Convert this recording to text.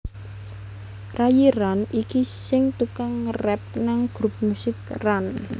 Rayi Ran iki sing tukang ngerap nang grup musik Ran